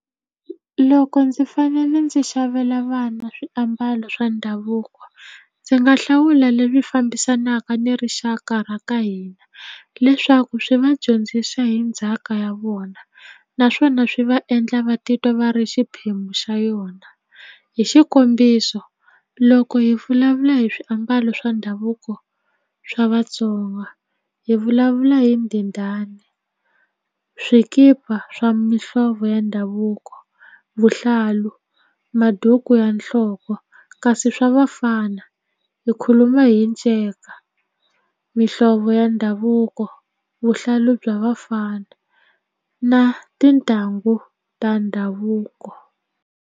Loko ndzi fanele ndzi xavela vana swiambalo swa ndhavuko ndzi nga hlawula leswi fambisanaka ni rixaka ra ka hina leswaku swi va dyondzisa hi ndzhaka ya vona naswona swi va endla va titwa va ri xiphemu xa yona hi xikombiso loko hi vulavula hi swiambalo swa ndhavuko swa Vatsonga hi vulavula hi ndhindhani swikipa swa mihlovo ya ndhavuko vuhlalu maduku ya nhloko kasi swa vafana hi khuluma hi nceka mihlovo ya ndhavuko vuhlalu bya vafana na tintangu ta ndhavuko.